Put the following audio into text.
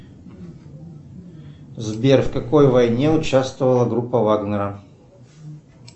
сбер в какой войне участвовала группа вагнера